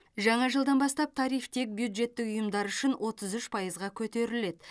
жаңа жылдан бастап тариф тек бюджеттік ұйымдар үшін отыз үш пайызға көтеріледі